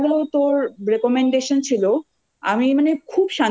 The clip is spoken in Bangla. আর কি এইটাই। কিন্তু এতো ভালো তোর recommendation ছিলও